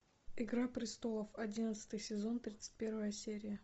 игра престолов одиннадцатый сезон тридцать первая серия